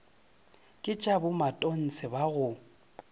ke tša bomatontshe ba go